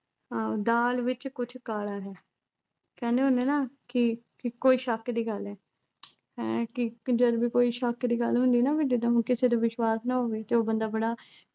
ਆਹ ਦਾਲ ਵਿੱਚ ਕੁੱਝ ਕਾਲਾ ਹੈ ਕਹਿੰਦੇ ਹੁੰਦੇ ਐ ਨਾ ਕੀ, ਕਿ ਕੋਈ ਸ਼ੱਕ ਦੀ ਗੱਲ ਹੈ ਹੈਂ ਕੀ ਕਿ ਜਦੋਂ ਕੋਈ ਸ਼ੱਕ ਦੀ ਗੱਲ ਹੁੰਦੀ ਐ ਨਾ ਵੀ ਜਿੱਦਾਂ ਹੁਣ ਕਿਸੇ ਤੇ ਵਿਸ਼ਵਾਸ ਨਾ ਹੋਵੇ ਜੋ ਬੰਦਾ ਬੜਾ